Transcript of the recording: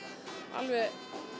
alveg